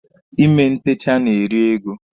Ime ntecha na-eri ego.